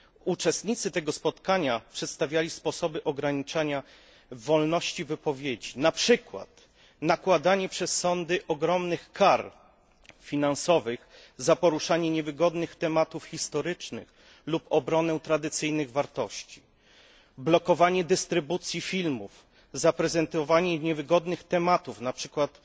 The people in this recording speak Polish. Uczestnicy tego spotkania przedstawiali sposoby ograniczania wolności wypowiedzi poprzez nakładanie przez sądy ogromnych kar finansowych za poruszanie niewygodnych tematów historycznych i obronę tradycyjnych wartości, blokowanie dystrybucji filmów prezentujących niewygodne tematy, jak na przykład